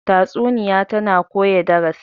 tatsuniya tana koya darasi